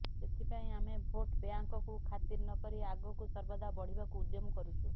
ସେଥିପାଇଁ ଆମେ ଭୋଟ୍ ବ୍ୟାଙ୍କକୁ ଖାତିର ନ କରି ଆଗକୁ ସର୍ବଦା ବଢ଼ିବାକୁ ଉଦ୍ୟମ କରୁଛୁ